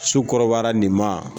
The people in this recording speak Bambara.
Su kɔrɔbayara nin ma